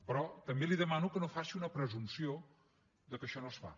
però també li demano que no faci una presumpció que això no es fa